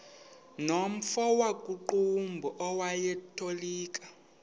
nomfo wakuqumbu owayetolika